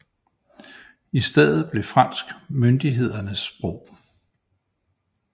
I stedet blev fransk myndighedernes sprog